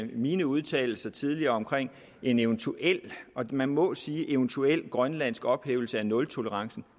min udtalelse tidligere om en eventuel og man må sige eventuel grønlandsk ophævelse af nultolerancen